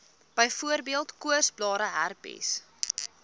byvoorbeeld koorsblare herpes